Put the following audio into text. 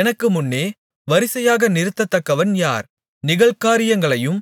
எனக்கு முன்னே வரிசையாக நிறுத்தத்தக்கவன் யார் நிகழ்காரியங்களையும்